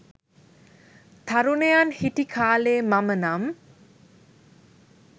තරුණයන් හිටි කාලේ මම නම්